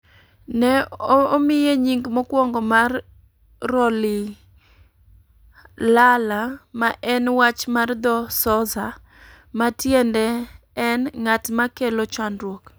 Ne omiye nying mokwongo mar Rolihlahla ma en wach mar dho Xhosa ma tiende en "ng'at ma kelo chandruok",